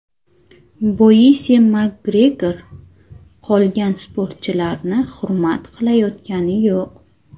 Boisi MakGregor qolgan sportchilarni hurmat qilayotgani yo‘q.